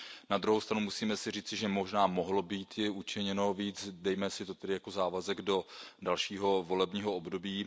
Na druhou stranu musíme si říci, že možná mohlo býti učiněno víc, dejme si to tedy jako závazek do dalšího volebního období.